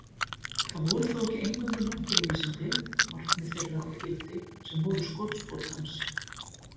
Það voru þó ekki eingöngu náttúruvísindi, markmið þeirra og gildi, sem voru skotspónn hans.